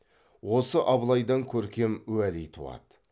осы абылайдан көркем уәли туады